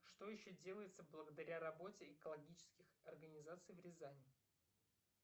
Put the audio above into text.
что еще делается благодаря работе экологических организаций в рязани